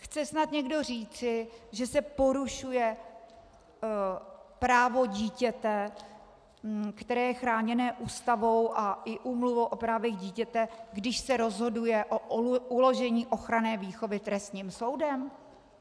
Chce snad někdo říci, že se porušuje právo dítěte, které je chráněno Ústavou a i Úmluvu o právech dítěte, když se rozhoduje o uložení ochranné výchovy trestním soudem?